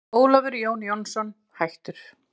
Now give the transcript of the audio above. Ólafur Jón Jónsson, hættur